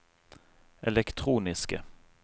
elektroniske